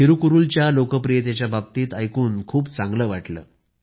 थिरूकुरूलच्या लोकप्रियतेच्याबाबतीत ऐकून खूप चांगलं वाटलं